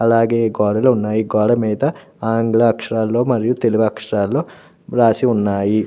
అలాగే గోడలు ఉన్నయి గోడ మీద ఆంగ్ల అక్షరాలలో మరియు తెలుగు అక్షరాలలో రాసి ఉన్నాయి.